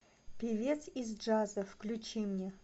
певец из джаза включи мне